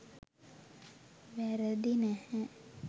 වැරදි නැහැ.